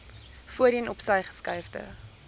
voorheen opsy geskuifde